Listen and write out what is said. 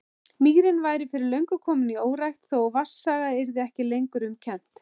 Mýrin væri fyrir löngu komin í órækt, þó vatnsaga yrði ekki lengur um kennt.